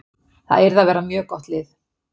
Það yrði að vera mjög gott lið.